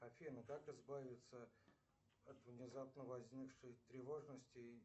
афина как избавиться от внезапно возникшей тревожности